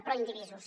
proindivisos